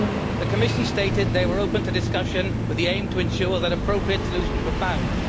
The Commission stated they were open to discussion with the aim of ensuring that appropriate solutions were found.